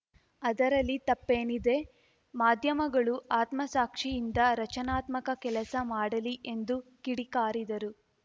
ಅದರಲ್ಲಿ ತಪ್ಪೇನಿದೆ ಮಾಧ್ಯಮಗಳು ಆತ್ಮಸಾಕ್ಷಿಯಿಂದ ರಚನಾತ್ಮಕ ಕೆಲಸ ಮಾಡಲಿ ಎಂದು ಕಿಡಿಕಾರಿದರು